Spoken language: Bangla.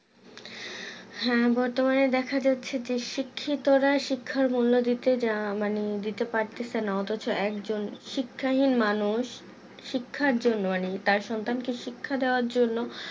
হ্যাঁ বর্তমানে দেখা যাচ্ছে যে শিক্ষিতরা শিক্ষার মূল্য দিতে যা মানে দিতে পারতেছে না অথচ একজন শিক্ষাহীন মানুষ শিক্ষার জন্য মানে তার সন্তানকে শিক্ষা দেওয়ার জন্য